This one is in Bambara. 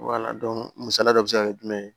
misaliya dɔ bɛ se ka kɛ jumɛn ye